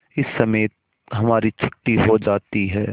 इस समय हमारी छुट्टी हो जाती है